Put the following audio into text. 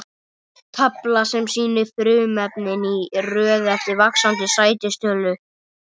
Tafla sem sýnir frumefnin í röð eftir vaxandi sætistölu.